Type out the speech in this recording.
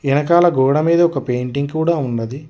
ఎనకాల గోడ మీద ఒక పెయింటింగ్ కూడ ఉన్నది.